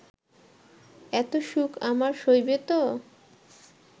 এত সুখ আমার সইবে তো